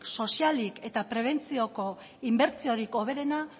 sozialik eta prebentzioko inbertsiorik hoberena